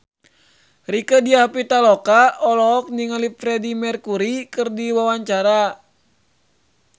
Rieke Diah Pitaloka olohok ningali Freedie Mercury keur diwawancara